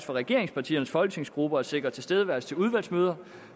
for regeringspartiernes folketingsgrupper at sikre tilstedeværelse ved udvalgsmøder